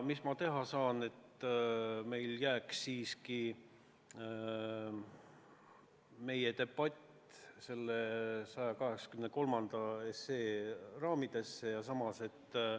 Mis ma teha saan, et meie debatt jääks siiski 183 SE raamidesse?!